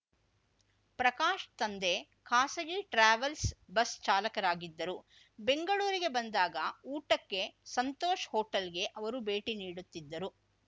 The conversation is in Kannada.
ಪ್ರಕಾಶ್‌ ತಂದೆ ಖಾಸಗಿ ಟ್ರಾವೆಲ್ಸ್ ಬಸ್‌ ಚಾಲಕರಾಗಿದ್ದರು ಬೆಂಗಳೂರಿಗೆ ಬಂದಾಗ ಊಟಕ್ಕೆ ಸಂತೋಷ್‌ ಹೋಟೆಲ್‌ಗೆ ಅವರು ಭೇಟಿ ನೀಡುತ್ತಿದ್ದರು